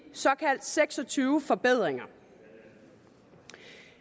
seks og tyve såkaldte forbedringer